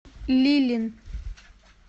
лилин